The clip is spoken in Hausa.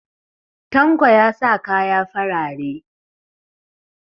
Tanko ya sa kaya farare